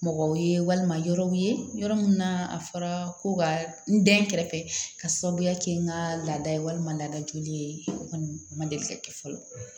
Mɔgɔw ye walima yɔrɔw ye yɔrɔ min na a fɔra ko ka n den kɛrɛfɛ ka sababuya kɛ n ka laada ye walima laada joli ye o kɔni ma deli ka kɛ fɔlɔ